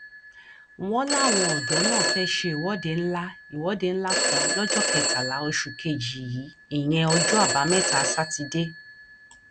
ìmọlẹyàyò fipá bá obìnrin lò pọ ní sàgámù ò lóun mutí yó ni